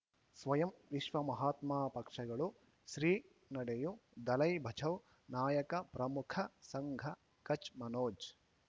ಸ್ವಯಂ ವಿಶ್ವ ಮಹಾತ್ಮ ಪಕ್ಷಗಳು ಶ್ರೀ ನಡೆಯೂ ದಲೈ ಬಚೌ ನಾಯಕ ಪ್ರಮುಖ ಸಂಘ ಕಚ್ ಮನೋಜ್